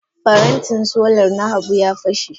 Parantin solar na Habu ya fashe.